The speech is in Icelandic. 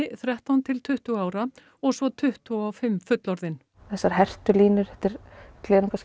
þrettán til tuttugu ára og svo tuttugu og fimm fullorðin þessar hertu línur þetta